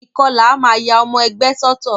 Ìkọlà a máa ya ọmọ ẹgbẹ́ sọ́tọ̀.